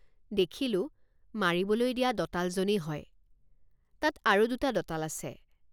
দেখিলোঁ মাৰিবলৈ দিয়া দঁতালজনেই হয়। তাত আৰু দুটা দঁতাল আছে।